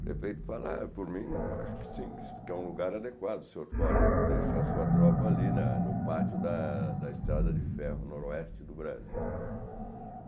O prefeito fala Ah, por mim, eu acho que sim, que é um lugar adequado, o senhor pode deixar sua tropa ali na no pátio da da Estrada de Ferro Noroeste do Brasil.